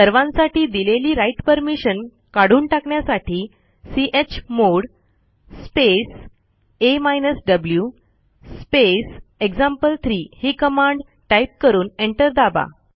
सर्वांसाठी दिलेली write permission काठून टाकण्यासाठी chmod space a v space example three ही कमांड टाईप करून एंटर दाबा